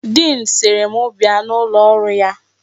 Diin sịrị m bia n'ụlọ ọrụ ya.